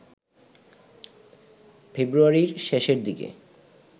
ফেব্রুয়ারির শেষের দিকে